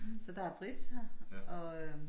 Så der er bridge her og øh